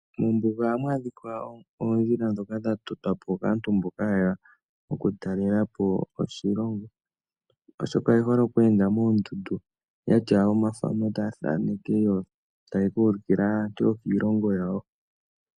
Mombuga ohamu adhika oondjila dhoka dha totwapo kaantu mboka hayeya okutalelapo oshilongo oshoka oyehole oku enda moondundu yena omathano gawo taya thaneke yo taya ka ulukila aantu yokiilongo yawo.